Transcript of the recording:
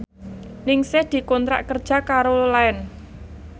Ningsih dikontrak kerja karo Line